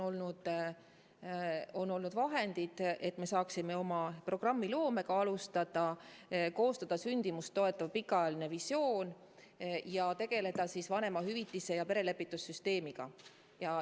On olnud vahendid, et me saaksime oma programmi loomist alustada, koostada sündimust toetav pikaajaline visioon ja tegeleda vanemahüvitise ja perelepituse süsteemiga.